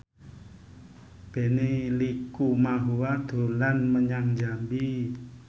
Benny Likumahua dolan menyang Jambi